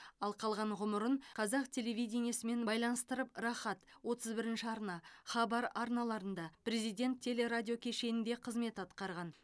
ал қалған ғұмырын қазақ телевидениесімен байланыстырып рахат отыз бірінші арна хабар арналарында президент телерадиокешенінде қызмет атқарған